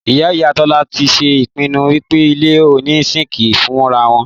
Ìyá ìyá Tọ́lá ti ṣe ìpinnu wípé ilé oní síńkì fúnrawon